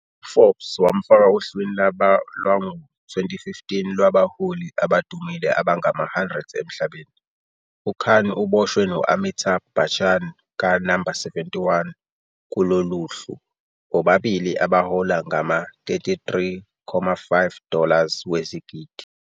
UForbes wamfaka ohlwini lwabo lwango-2015 lwabaHoli Abadumile abangama-100 emhlabeni, UKhan uboshwe no-Amitabh Bachchan ka-No. 71 kulolo hlu, bobabili abahola ngama- 33,5 dollars wezigidi.